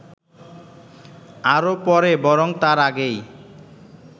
আরো পরে বরং তার আগেই